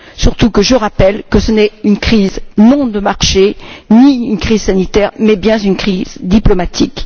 Surtout que je rappelle que ce n'est pas une crise de marché, ni une crise sanitaire mais bien une crise diplomatique.